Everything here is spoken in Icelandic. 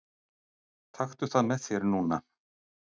Taktu það með þér núna!